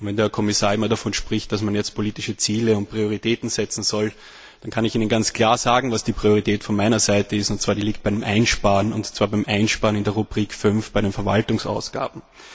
Wenn der Kommissar immer davon spricht, dass man jetzt politische Ziele und Prioritäten setzen soll, dann kann ich Ihnen ganz klar sagen, was die Priorität von meiner Seite ist, und zwar liegt die beim Einsparen, und zwar beim Einsparen in der Rubrik 5 bei den Verwaltungsausgaben.